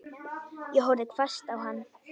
Ég horfði hvasst á hann.